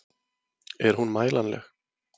Er hún mælanleg?